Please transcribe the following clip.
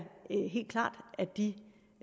helt klart at de